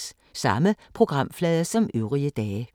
Samme programflade som øvrige dage